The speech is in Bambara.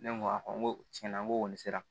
Ne ko a n ko tiɲɛna n ko kɔni sera